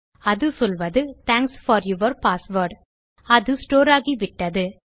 அது சொல்வது thanks for your password அது ஸ்டோர் ஆகிவிட்டது